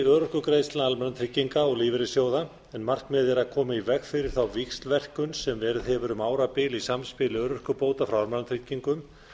örorkugreiðslna almannatrygginga og lífeyrissjóða en markmiðið er að koma í veg fyrir þá víxlverkun sem verið hefur um árabil í samspili örorkubóta frá almannatryggingum